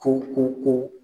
ko ko ko